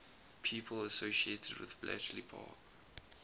people associated with bletchley park